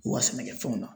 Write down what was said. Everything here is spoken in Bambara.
U ka sɛnɛkɛfɛnw na